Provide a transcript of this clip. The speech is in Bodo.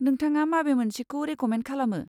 नोंथाङा माबे मोनसेखौ रेक'मेन्द खालामो?